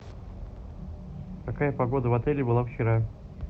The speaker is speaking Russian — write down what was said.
какая погода в отеле была вчера